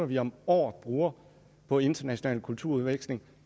vi om året bruger på international kulturudveksling